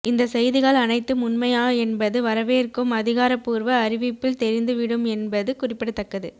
இந்த செய்திகள் அனைத்தும் உண்மையா என்பது வரவேற்கும் அதிகாரபூர்வ அறிவிப்பில் தெரிந்து விடும் என்பது குறிப்பிடத்தக்கது